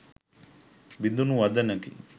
බිඳුනු වදනකි.